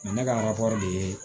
ne ka de ye